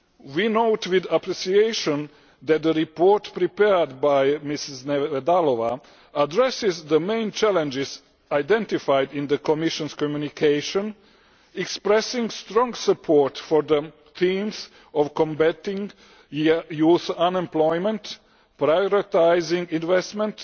We note with appreciation that the report prepared by Ms Neveďalová addresses the main challenges identified in the Commission communication, expressing strong support for the themes of combating youth unemployment, prioritising investment,